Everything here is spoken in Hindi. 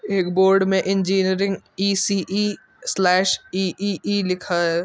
एक बोर्ड में इंजीनियरिंग ई.सी.इ स्लैश इ.इ.इ. लिखा है।